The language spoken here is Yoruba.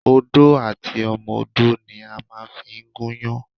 Odó àti ọmọdó ni a màa n fi gúnyán